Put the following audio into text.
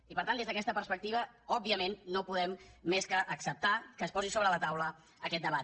i per tant des d’aquesta perspectiva òbviament no podem més que acceptar que es posi sobre la taula aquest debat